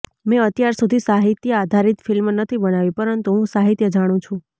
મેં અત્યાર સુધી સાહિત્ય આધારિત ફિલ્મ નથી બનાવી પરંતુ હું સાહિત્ય જાણું છું